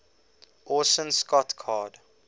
orson scott card